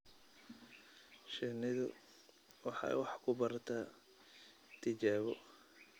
Shinnidu waxay wax ku barataa tijaabo